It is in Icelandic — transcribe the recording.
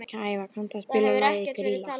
Gæfa, kanntu að spila lagið „Grýla“?